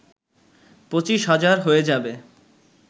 পঁচিশ হাজার হয়ে যাবে